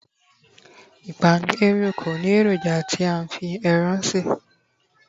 ipapanu oreo ko ni eroja ti a fi Eran se